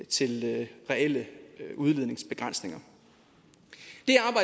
til reelle udledningsbegrænsninger